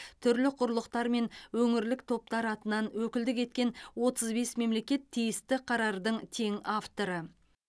түрлі құрлықтар мен өңірлік топтар атынан өкілдік еткен отыз бес мемлекет тиісті қарардың тең авторы